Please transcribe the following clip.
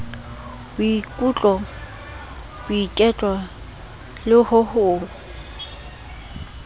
boikutlo boiketlo le ho o